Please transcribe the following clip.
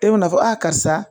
E bɛ n'a fɔ a karisa